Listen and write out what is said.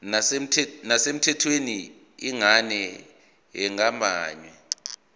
nesemthethweni yengane engeyabanye